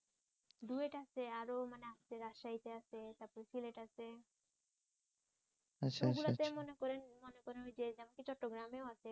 duet আছে আরো মানে রাজশাহীতে আছে তারপর যেমন সিলেট আছে ওগুলো তো মনে করেন মনে করেন ঐ যে এমনকি চট্টগ্রামেও আছে